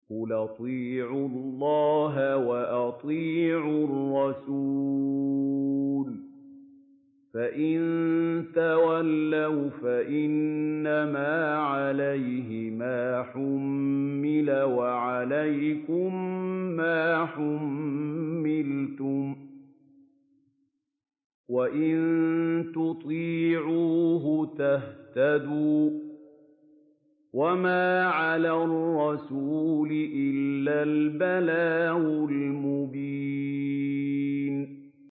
قُلْ أَطِيعُوا اللَّهَ وَأَطِيعُوا الرَّسُولَ ۖ فَإِن تَوَلَّوْا فَإِنَّمَا عَلَيْهِ مَا حُمِّلَ وَعَلَيْكُم مَّا حُمِّلْتُمْ ۖ وَإِن تُطِيعُوهُ تَهْتَدُوا ۚ وَمَا عَلَى الرَّسُولِ إِلَّا الْبَلَاغُ الْمُبِينُ